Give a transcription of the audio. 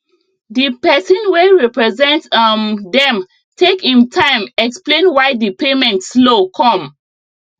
di person wey represent um dem take im time explain why di payment slow come